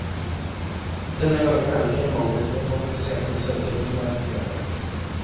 Denne gangen er det ikke mangel på kvalifiserte søkere som er problemet.